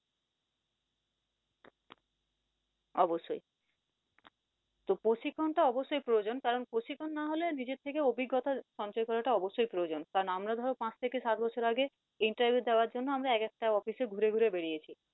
অবশ্যই তো প্রশিক্ষন টা অবশ্যই প্রয়োজন কারন প্রশিক্ষন না হলে নিজের থেকে অভিজ্ঞতা সঞ্চয় করাটা অবশ্যই প্রয়োজন কারন আমরা ধরো পাঁচ থেকে সাত বছর আগে interveiw দেওয়ার জন্য আমরা একেক টা office এ ঘুরে ঘুরে বেরিয়েছি